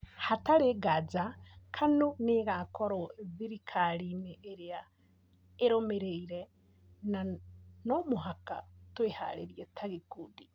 Hatarĩ nganja Kanu nĩ ĩgaakorwo thirikari-inĩ ĩrĩa ĩrũmĩrĩire na no mũhaka twĩharĩrie ta gĩkundi.